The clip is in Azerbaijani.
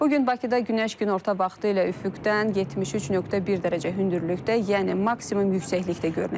Bu gün Bakıda günəş günorta vaxtı ilə üfüqdən 73.1 dərəcə hündürlükdə, yəni maksimum yüksəklikdə görünəcək.